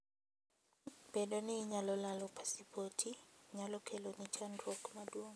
Bedo ni inyalo lalo pasipoti, nyalo keloni chandruok maduong'.